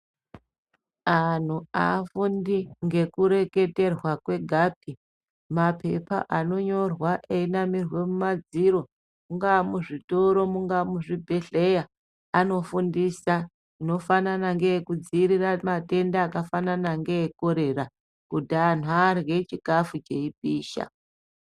Antu aafundi ngekureketerwa kwegapi. Mapepa anonyorwa eyinamirwa kumadziro, munga muzvitoro munga muzvibhehleya. Anofundisa zvinofanana nekudzivirira matenda akafanana ngeekorera kuti antu arye chikafu cheipisha.